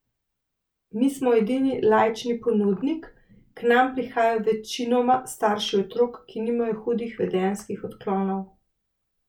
Mi smo edini laični ponudnik, k nam prihajajo večinoma starši otrok, ki nimajo hudih vedenjskih odklonov.